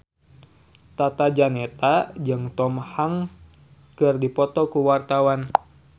Tata Janeta jeung Tom Hanks keur dipoto ku wartawan